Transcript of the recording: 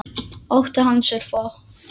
Ótti hans er fokinn.